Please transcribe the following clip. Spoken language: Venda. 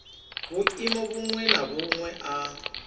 vhuimo vhuṅwe na vhuṅwe a